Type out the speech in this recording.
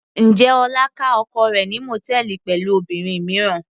Njẹ́ Ọlá ká oko rẹ̀ ní mòtẹ́ẹ́lì pẹ̀lú obìnrin mìíràn.